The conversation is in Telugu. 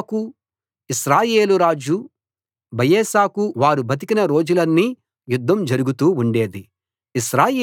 ఆసాకు ఇశ్రాయేలు రాజు బయెషాకు వారు బతికిన రోజులన్నీ యుద్ధం జరుగుతూ ఉండేది